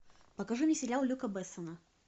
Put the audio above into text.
покажи мне сериал люка бессона